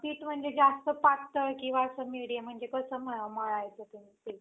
पीठ म्हणजे जास्त पातळ किंवा असं मेडीयम म्हणजे कस मळायचं ते पीठ?